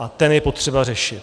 A ten je potřeba řešit.